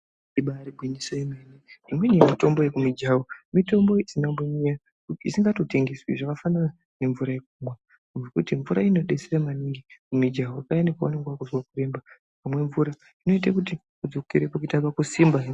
Ibari gwinyiso yemene imweni yemitombo yekumijaho mitombo isinakumbonyanya isingatotengwesi zvakafanana ngemvura, mvura inodetsera maningi mumijaho payani paunenge wakuzwa kuremba inoita kuti udzokere kusimba.